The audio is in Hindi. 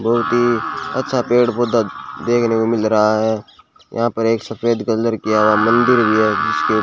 बहोत ही अच्छा पेड़ पौधा देखने को मिल रहा है यहां पर एक सफेद कलर किया हुआ मंदिर भी है जिसपे --